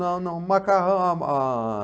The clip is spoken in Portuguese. Não, não macarrão, ah...